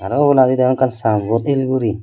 aro obolandi degong ekkan sango el guri.